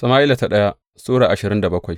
daya Sama’ila Sura ashirin da bakwai